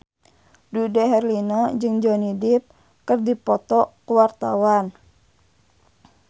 Dude Herlino jeung Johnny Depp keur dipoto ku wartawan